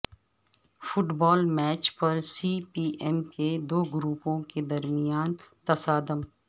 fit بال match پر C P M کے دوگروپوں کے درمیان تصادم